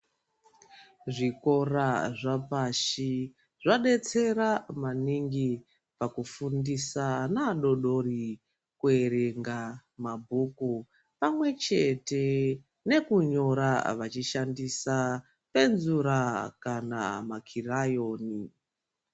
Zvikora zvapashi zvadetsera maningi pakufundisa ana adodori kuerenga mabhuku pamwechete nekunyora vachishandisa penzura kana makirayoni.